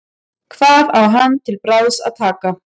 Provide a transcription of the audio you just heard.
Hvað á hann til bragðs að taka?